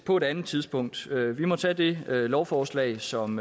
på et andet tidspunkt vi må tage det lovforslag som